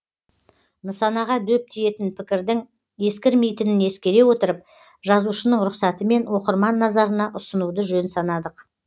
нысанаға дөп тиетін пікірдің ескірмейтінін ескере отырып жазушының рұқсатымен оқырман назарына ұсынуды жөн санадық